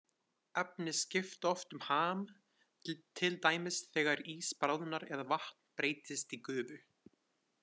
Efni skipta oft um ham, til dæmis þegar ís bráðnar eða vatn breytist í gufu.